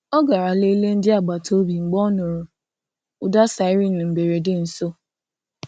Ọ garà leleè ndị agbata obi mgbe ọ nụrụ̀ ụda siren mberede nso.